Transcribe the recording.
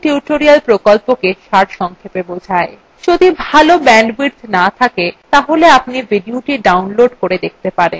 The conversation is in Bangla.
এটি spoken tutorial প্রকল্পটি সারসংক্ষেপে বোঝায়